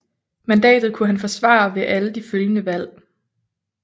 Mandatet kunne han forsvare ved alle de følgende valg